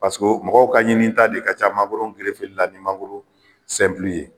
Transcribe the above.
mɔgɔw ka ɲinita de ka ca mangoro la ni mangoro ye